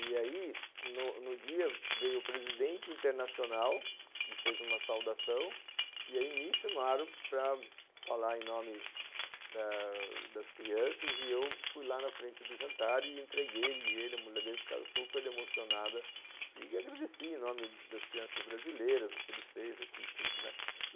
E aí, no no dia, veio o presidente internacional, que fez uma saudação, e aí me chamaram para falar em nome das crianças, e eu fui lá na frente do jantar e entreguei ele e a mulher dele, ficaram super emocionadas, e agradeci em nome das crianças brasileiras, o que ele fez aqui e tudo, né?